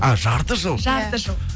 а жарты жыл жарты жыл